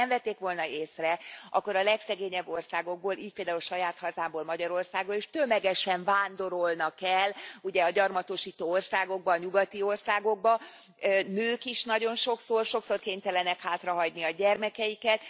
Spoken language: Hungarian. Nos, ha nem vették volna észre, akkor a legszegényebb országokból, így például saját hazámból, Magyarországról is tömegesen vándorolnak el ugye a gyarmatosító országokba, a nyugati országokba, nők is nagyon sokszor, sokszor kénytelenek hátrahagyni a gyermekeiket.